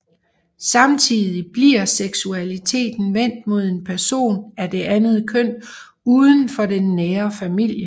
Samtidig bliver seksualiteten vendt mod en person af det andet køn uden for den nære familie